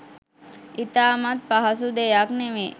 ඉතාමත් පහසු දෙයක් නෙවේ.